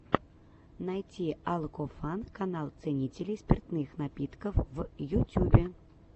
найти алкофан канал ценителей спиртных напитков в ютюбе